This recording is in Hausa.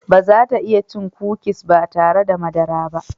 Ba za ta iya cin kukis ba tare da madara ba.